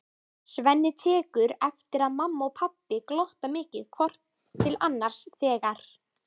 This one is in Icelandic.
Svenni tekur eftir að mamma og pabbi glotta mikið hvort til annars þegar